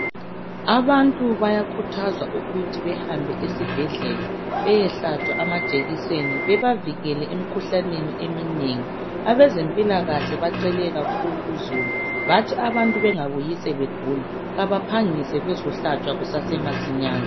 Abantu bayakhuthazwa ukuthi behambe esibhedlela bayehlatshwa amajekiseni bebavikele emkhuhlaneni eminengi. Abezempilakahle bacele kakhulu uzulu ukuthi abantu bangabuyi sebegula kabaphangise bazohlatshwa kusese masinyane.